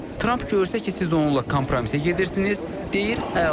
Tramp görsə ki, siz onunla kompromisə gedirsiniz, deyir əla.